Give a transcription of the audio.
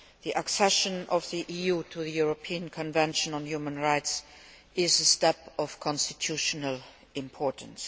The accession of the EU to the European Convention on Human Rights is a step of constitutional importance.